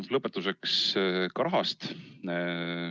Lõpetuseks ka rahast.